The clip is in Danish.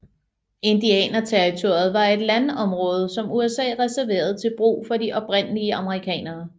Indianerterritoriet var et landområde som USA reserverede til brug for de oprindelige amerikanere